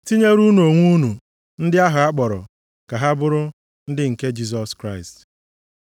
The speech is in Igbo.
Tinyere unu onwe unu ndị ahụ a kpọrọ ka ha bụrụ ndị nke Jisọs Kraịst.